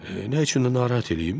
Nə üçün də narahat eləyim?